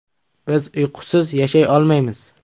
Biz uyqusiz yashay olmaymiz.